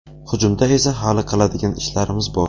Hujumda esa hali qiladigan ishlarimiz bor.